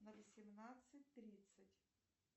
на восемнадцать тридцать